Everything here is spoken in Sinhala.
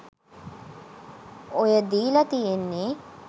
ඔය දීල තියෙන්නේ